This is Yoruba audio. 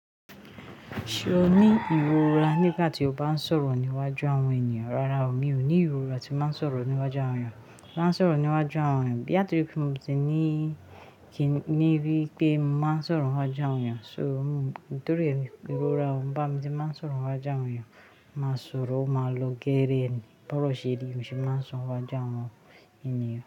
Ṣé o ní ìrora nígbà tí o bá ń sọ̀rọ̀ níwájú àwọn ènìyàn? Rárá o, mi ò ní ìrora tí máa ń sọ̀rọ̀ níwájú àwọn ènìyàn. Bí àtí pé mo ti ní kì í ní bí pé mo máa ń sọ̀rọ̀ níwájú àwọn ènìyàn, so mo nítorí èmi ìrora ọ bá mi tí ń máa ń sọ̀rọ̀ wájú àwọn ènìyàn, máa sọ̀rọ̀ máa lo geere ẹni, bó ọ̀ ṣe di mo sì máa ń sọ wájú àwọn ènìyàn.